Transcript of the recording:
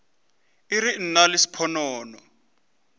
e re nna le sponono